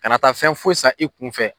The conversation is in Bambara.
Ka na taa fɛn foyi san i kunfɛ